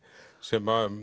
sem